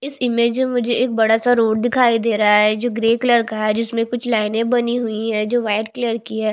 इस में मुझे एक बड़ा सा रोड दिखाई दे रहा है जो ग्रे कलर का है जिसमें कुछ लाइनें बनी हुई है जो व्हाईट कलर की है।